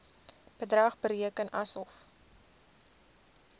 bedrag bereken asof